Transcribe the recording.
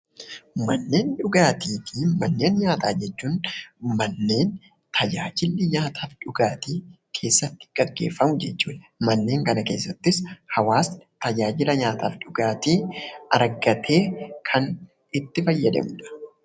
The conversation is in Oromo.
Manneen dhugaatii fi manneen nyaataa jechuun manneen tajaajilli nyaataaf dhugaatii keessatti geggeeffamu jechuudha. Manneen kana keessattis hawaasni tajaajila nyaataa fi dhugaatii argatee kan itti fayyadamudha